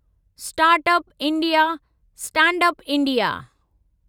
start up India, stand up India